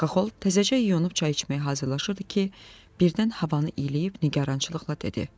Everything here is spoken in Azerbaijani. Xaxol təzəcə yuyunub çay içməyə hazırlaşırdı ki, birdən havanı iyləyib nigarançılıqla dedi: